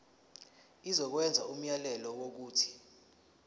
izokwenza umyalelo wokuthi